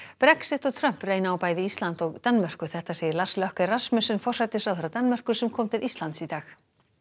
Brexit og Trump reyna á bæði Ísland og Danmörku þetta segir Lars Løkke Rasmussen forsætisráðherra Danmerkur sem kom til Íslands í dag